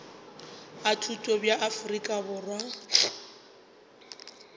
a thuto bja afrika borwa